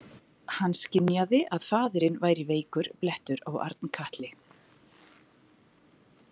Hann skynjaði að faðirinn væri veikur blettur á Arnkatli.